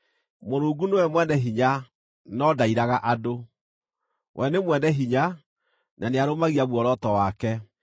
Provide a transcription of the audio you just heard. “Mũrungu nĩwe mwene hinya, no ndairaga andũ; we nĩ mwene hinya, na nĩarũmagia muoroto wake.